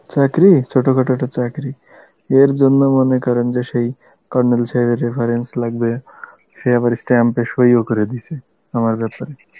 চাকরি, ছোট খাটো একটা চাকরি, এর জন্য মনে করেন যে সেই colonel সাহেবের reference লাগবে, সে আবার stamp এ সই ও করে দিসে আমার বেপারে